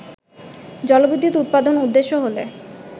জলবিদ্যুৎ উৎপাদন উদ্দেশ্য হলে